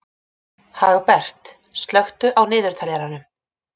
Hagbert, slökktu á niðurteljaranum.